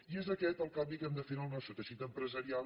i és aquest el canvi que hem de fer en el nostre teixit empresarial